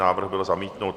Návrh byl zamítnut.